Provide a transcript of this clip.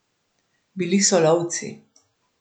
Bili so lovci.